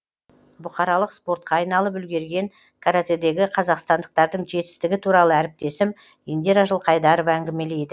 бұқаралық спортқа айналып үлгерген каратэдегі қазақстандықтардың жетістігі туралы әріптесім индира жылқайдарова әңгімелейді